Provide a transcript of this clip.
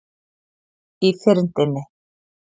Í fyrndinni.